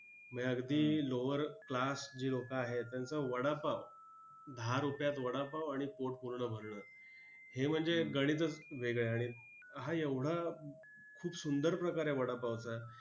म्हणजे अगदी lower class जी लोकं आहेत त्यांचा वडापाव! दहा रुपयात वडापाव आणि पोट पूर्ण भरणं, हे म्हणजे गणितच वेगळं आहे, आणि हा एवढा खूप सुंदर प्रकार आहे वडापावचा!